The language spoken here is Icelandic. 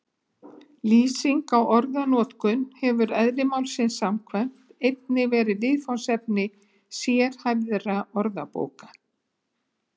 Lýsing á orðanotkun hefur eðli málsins samkvæmt einnig verið viðfangsefni sérhæfðra orðabóka.